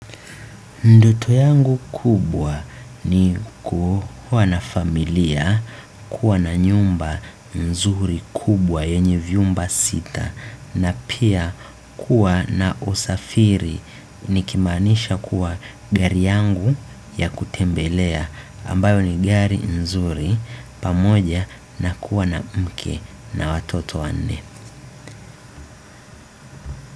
Ndoto yangu kubwa ni kuwa na familia kuwa na nyumba nzuri kubwa yenye viumba sita na pia kuwa na usafiri nikimaanisha kuwa gari yangu ya kutembelea ambayo ni gari nzuri pamoja na kuwa na mke na watoto wanne.